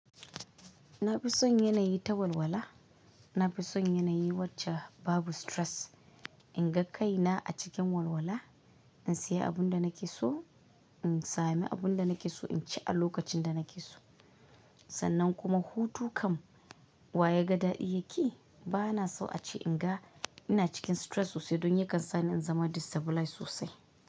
Na fi son yanayi ta walwala. Na fi son yanayi wacce babu stress. Inga kaina a cikin walwala, in saya abunda nakeso, in sami abunda nakeso, inci a lokacinda nakeso. Sannan kuma hutu kam wayaga dan iyaki? Bana so ace inga ina cikin stress sosai don yakan sani in zama destabilize sosai.